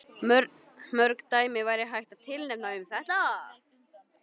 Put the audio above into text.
Mörg dæmi væri hægt að tilnefna um þetta.